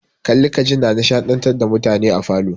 Kalli ka ji na nishadantar da mutane a falo.